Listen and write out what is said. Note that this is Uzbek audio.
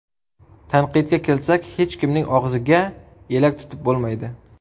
Tanqidga kelsak, hech kimning og‘ziga elak tutib bo‘lmaydi.